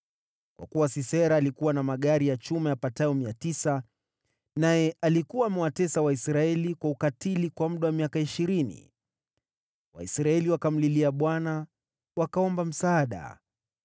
Kwa kuwa Sisera alikuwa na magari ya chuma yapatayo 900, naye alikuwa amewatesa Waisraeli kwa ukatili kwa muda wa miaka ishirini, Waisraeli wakamlilia Bwana wakaomba msaada.